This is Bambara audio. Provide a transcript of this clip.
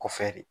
Kɔfɛ de